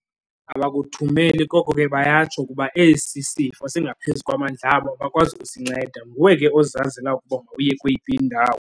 Abakuthumeli koko ke bayatsho ukuba esi sifo singaphezu kwamandla abo abakwazi kusinceda. Nguwe ke ozazela ukuba mawuye kweyiphi indawo.